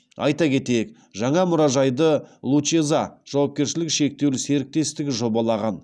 айта кетейік жаңа мұражайды лучеза жауапкершілігі шектеулі серіктестігі жобалаған